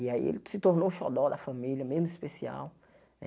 E aí ele se tornou o xodó da família, mesmo especial né.